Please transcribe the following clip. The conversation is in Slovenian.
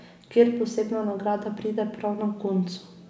Kjer posebna nagrada pride prav na koncu.